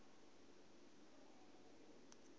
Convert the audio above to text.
na musi a si ho